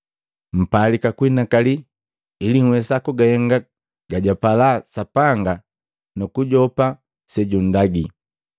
Mpalika kuhinakali ili nhwesa kugahenga gajwagapala Sapanga nu kujopa sejundagi.